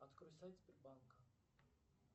открой сайт сбербанка